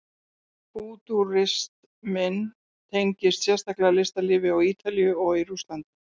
Fútúrisminn tengdist sérstaklega listalífi á Ítalíu og í Rússlandi.